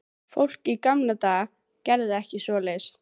Fólk í gamla daga gerði ekki svoleiðis.